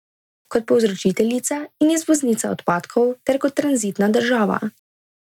Kot povzročiteljica in izvoznica odpadkov ter kot tranzitna država.